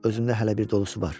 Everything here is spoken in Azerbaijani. Özümdə hələ bir dolusu var.